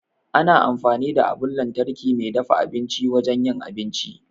Ana amfani da abun lantarki mai dafa abinci wajen yin abinci.